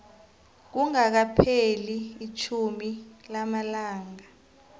kungakapheli itjhumi lamalanga